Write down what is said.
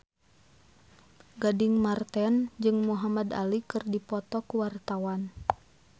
Gading Marten jeung Muhamad Ali keur dipoto ku wartawan